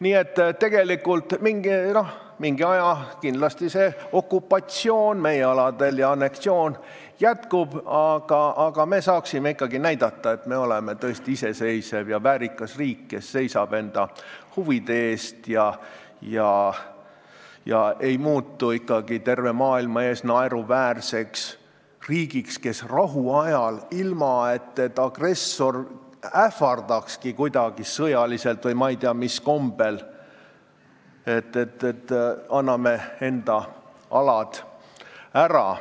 Nii et tegelikult mingi aja kindlasti okupatsioon ja anneksioon meie aladel jätkuks, aga me saaksime ikkagi näidata, et me oleme tõesti iseseisev ja väärikas riik, kes seisab enda huvide eest ega muutu terve maailma ees naeruväärseks riigiks, kes rahu ajal, ilma et agressor ähvardaks kuidagi sõjaliselt või ei tea mis kombel, annab enda alad ära.